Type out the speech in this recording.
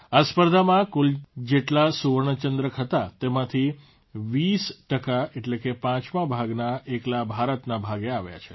આ સ્પર્ધામાં કુલ જેટલા સુવર્ણચંદ્રક હતા તેમાંથી ૨૦ ટકા એટલે કે પાંચમા ભાગના એકલા ભારતના ભાગે આવ્યા છે